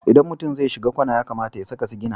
Idan mutum zai shiga kwana ya kamata ya saka sigina.